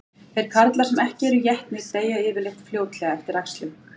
Þeir karlar sem ekki eru étnir deyja yfirleitt fljótlega eftir æxlun.